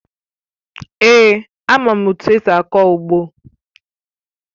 Èé, ama m etu esi akọ ugbo